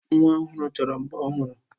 Nwa ọhụrụ chọrọ mbo ọhụrụ.